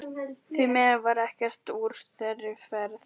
Því miður varð ekkert úr þeirri ferð.